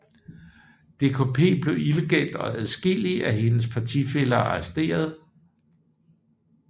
DKP blev illegalt og adskillige af hendes partifæller arresteret